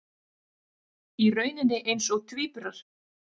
Í rauninni eins og tvíburar.